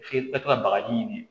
F'i ka taa bagaji ɲini